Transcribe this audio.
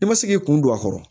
I ma se k'i kun don a kɔrɔ